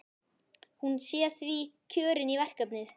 Hún sé því kjörin í verkefnið.